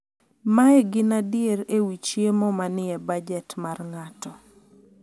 mae gin adier ewi chiemo ma ni e bajet mar ng'ato